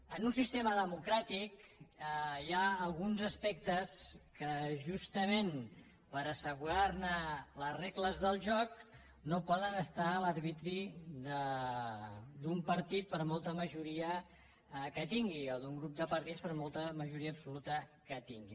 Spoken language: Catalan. en un sistema democràtic hi ha alguns aspectes que justament per assegurar ne les regles del joc no poden estar a l’arbitri d’un partit per molta majoria que tingui o d’un grup de partits per molta majoria absoluta que tinguin